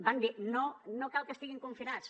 van dir no no cal que estiguin confinats